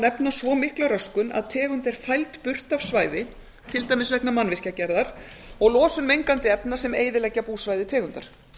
nefna svo mikla röskun að tegund er fæld burt af svæði til dæmis vegna mannvirkjagerðar og losun mengandi efna sem eyðileggja búsvæði tegundar